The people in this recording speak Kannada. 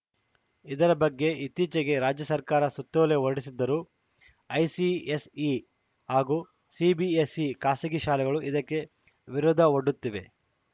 ಇದರ ಬಗ್ಗೆ ಇತ್ತೀಚೆಗೆ ರಾಜ್ಯ ಸರ್ಕಾರ ಸುತ್ತೋಲೆ ಹೊರಡಿಸಿದ್ದರೂ ಐಸಿಎಸ್‌ಇ ಹಾಗೂ ಸಿಬಿಎಸ್‌ಇ ಖಾಸಗಿ ಶಾಲೆಗಳು ಇದಕ್ಕೆ ವಿರೋಧ ಒಡ್ಡುತ್ತಿವೆ